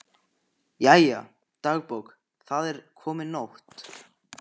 Jæja, dagbók, það er komin nótt.